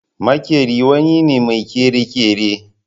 Makeri wani ne mai kere-kere.